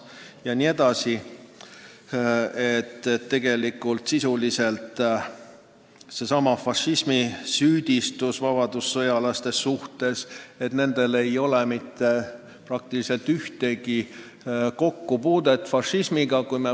Ka süüdistati vabadussõjalasi fašismimeelsuses, aga nendel ei olnud praktiliselt mitte mingit kokkupuudet fašismiga.